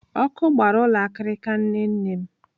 Ọkụ gbara ụlọ akirika nne nne m.